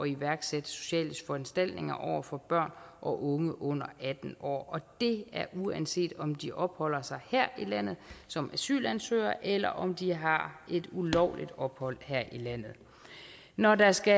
iværksætte sociale foranstaltninger over for børn og unge under atten år og det er uanset om de opholder sig her i landet som asylansøgere eller om de har et ulovligt ophold her i landet når der skal